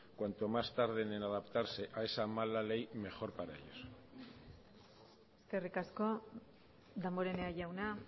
cuanto más tarde en adaptarse a esa mala ley mejor para ellos eskerrik asko damborenea jauna